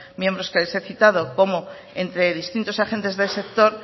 miembros que les he citado como entre distintos agentes del sector